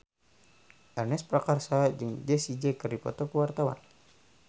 Ernest Prakasa jeung Jessie J keur dipoto ku wartawan